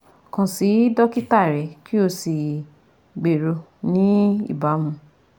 Kan si dokita rẹ ki o si gbero ni ibamu